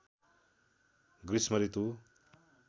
गृष्म ऋतु